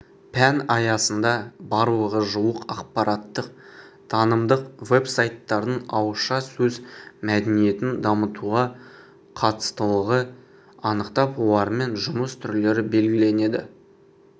пән аясында барлығы жуық ақпараттық-танымдық вебсайттардың ауызша сөз мәдениетін дамытуға қатыстылығы анықталып олармен жұмыс түрлері белгіленді